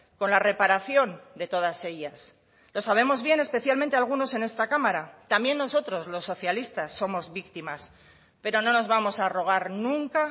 con la reparación de todas ellas lo sabemos bien especialmente algunos en esta cámara también nosotros los socialistas somos víctimas pero no nos vamos a arrogar nunca